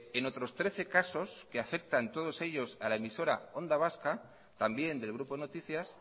en otros trece casos que afectan todos ellos a la emisora onda vasca también del grupo noticias